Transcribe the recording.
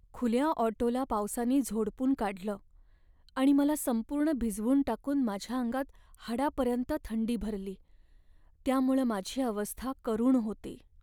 खुल्या ऑटोला पावसानी झोडपून काढलं आणि मला संपूर्ण भिजवून टाकून माझ्या अंगात हाडापर्यंत थंडी भरली, त्यामुळं माझी अवस्था करुण होती.